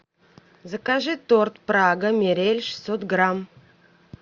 закажи торт прага мирель шестьсот грамм